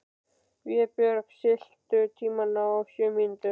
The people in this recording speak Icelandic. Vébjörg, stilltu tímamælinn á sjö mínútur.